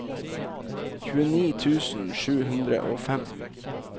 tjueni tusen sju hundre og fem